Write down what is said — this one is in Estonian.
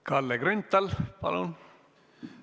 Kalle Grünthal, palun!